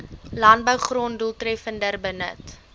landbougrond doeltreffender benut